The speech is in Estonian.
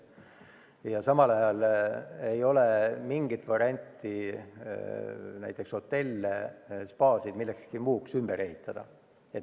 Ja samal ajal ei ole mingit varianti näiteks hotelle või spaasid millekski muuks ümber ehitada.